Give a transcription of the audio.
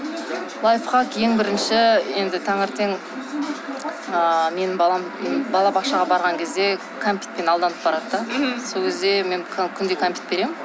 лайфхак ең бірінші енді таңертең ыыы менің балам балабақшаға барған кезде кәмпитпен алданып барады да сол кезде мен күнде кәмпит беремін